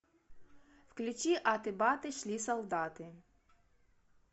включи аты баты шли солдаты